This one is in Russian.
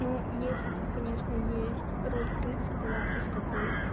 ну если тут конечно есть роль крысы то я буду с тобой